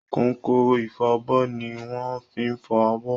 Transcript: Kọ̀nkọ̀n ifọbọ́ ni wọ́n ń fi fọ abọ́.